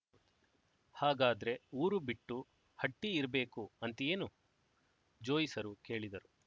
ಹಾಗಾದ್ರೆ ಊರು ಬಿಟ್ಟು ಹಟ್ಟಿ ಇರ್ಬೇಕು ಅಂತೀಯೇನು ಜೋಯಿಸರು ಕೇಳಿದರು